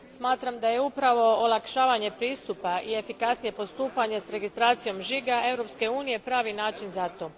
Smatram da je upravo olakšavanje pristupa i efikasnije postupanje s registracijom žiga Europske unije pravi način za to.